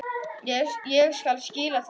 Ég skal skila því.